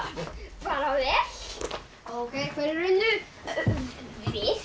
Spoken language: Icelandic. bara vel ókei hverjir unnu við